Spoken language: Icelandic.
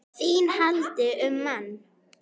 ÞÍN HALDI UM MANN!